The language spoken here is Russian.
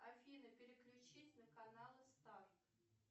афина переключись на каналы старт